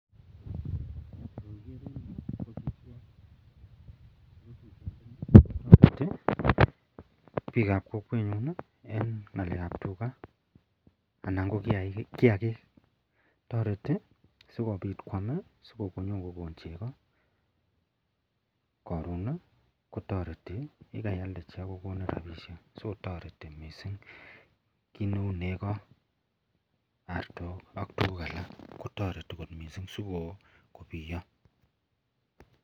bik ab Kokwenyun en ngalek ab tuga anan ko gi age tareti sikobit kwam akonyo kokon cheko koron kotareti yekaialde cheko kokonin rabishek so tareti mising ki Neu nego, artok akbtuguk alakkot mising sikobiyo.